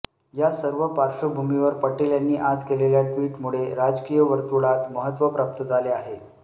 या सर्व पार्श्वभूमीवर पटेल यांनी आज केलेल्या टि्वटमुळे राजकीय वर्तुळात महत्त्व प्राप्त झाले आहे